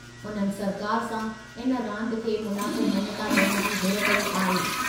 उन्हनि सरकारि सां इन रांदि खे मुनासिब मञता ॾियण जी घुर कई आहे।